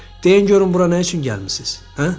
Deyin görün bura nə üçün gəlmisiz, hə?